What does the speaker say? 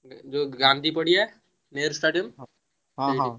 ଗାନ୍ଧୀ ପଡିଆ ନେହେରୁ stadium ସେଇଠି ହବ